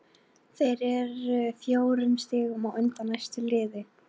Þeir eru fjórum stigum á undan næsta liði.